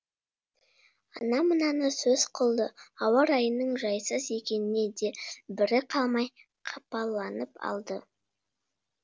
ана мынаны сөз қылды ауа райының жайсыз екеніне де бірі қалмай қапаланып алды